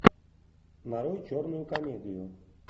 нарой черную комедию